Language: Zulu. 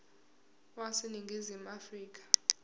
wase ningizimu afrika